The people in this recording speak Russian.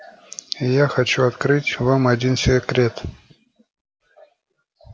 и я хочу открыть вам один секрет